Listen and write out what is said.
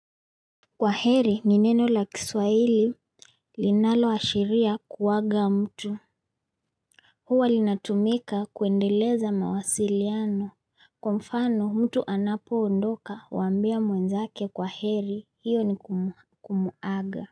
Kwa heri ni neno la kiswahili linaloashiria kuaga mtu huwa linatumika kuendeleza mawasiliano kwa mfano mtu anapoondoka huambia mwenzake kwa heri hiyo ni kumaga.